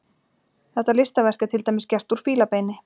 Þetta listaverk er til dæmis gert úr fílabeini.